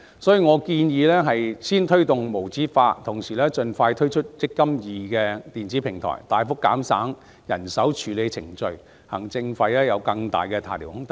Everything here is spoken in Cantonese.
所以，我建議先推動無紙化，同時盡快推出"積金易"電子平台，大幅減省人手處理程序，行政費便有更大的下調空間。